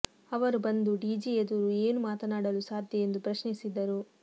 ಅವರು ಬಂದು ಡಿಜಿ ಎದುರು ಏನು ಮಾತಾಡಲು ಸಾಧ್ಯ ಎಂದು ಪ್ರಶ್ನಿಸಿದರು